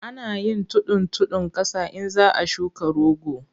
Ana yin tudun tudun ƙasa in za a shuka rogo.